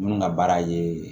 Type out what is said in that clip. Minnu ka baara ye